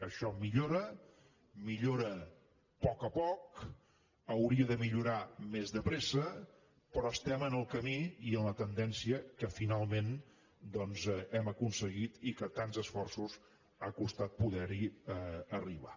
això millora millora a poc a poc hauria de millorar més de pressa però estem en el camí i en la tendència que finalment doncs hem aconseguit i que tants esforços ha costat poder hi arribar